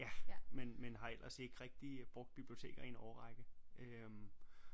Ja men men har ellers ikke rigtig brugt biblioteker i en årrække øh